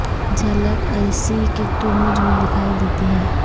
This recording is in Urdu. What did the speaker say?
جھلک اسی کو تو مجھ میں دکھائی دیتی ہے